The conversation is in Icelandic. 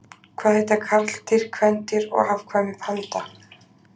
Hvað heita karldýr, kvendýr og afkvæmi panda?